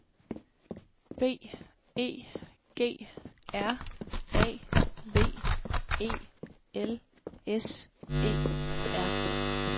B E G R A V E L S E R